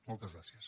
moltes gràcies